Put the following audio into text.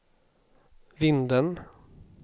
Vindeln